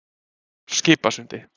Skipasundi